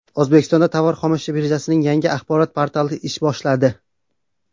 O‘zbekiston tovar-xomashyo birjasining yangi axborot portali ish boshladi.